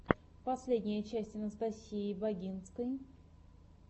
последняя часть анастасии багинской